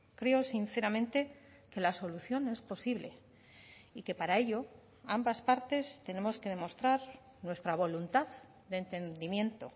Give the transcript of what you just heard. creo sinceramente que la solución es posible y que para ello ambas partes tenemos que demostrar nuestra voluntad de entendimiento